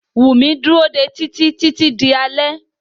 Wùmí dúró dé Títí títí di alé.